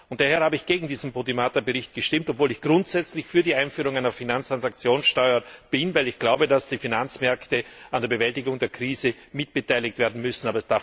Daher habe ich gegen den Bericht Podimata gestimmt, obwohl ich grundsätzlich für die Einführung einer Finanztransaktionssteuer bin, weil ich glaube, dass die Finanzmärkte an der Bewältigung der Krise mitbeteiligt werden müssen.